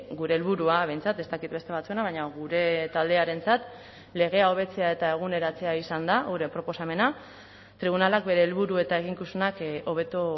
gure helburua behintzat ez dakit beste batzuena baina gure taldearentzat legea hobetzea eta eguneratzea izan da gure proposamena tribunalak bere helburu eta eginkizunak hobeto